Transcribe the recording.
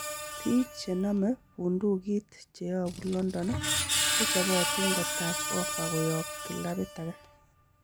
Biik chenome bunduki cheyobu london kochobotin kotach ofa koyob kiilabit age.